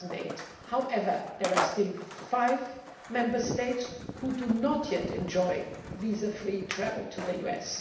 2008. However, there are still five Member States which do not yet enjoy visa free travel to the US.